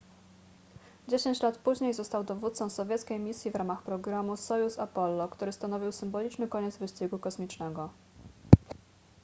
dziesięć lat później został dowódcą sowieckiej misji w ramach programu sojuz-apollo który stanowił symboliczny koniec wyścigu kosmicznego